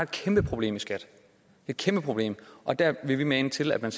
kæmpe problem i skat et kæmpe problem og der vil vi mane til at man